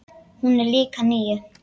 Hún er líka níu.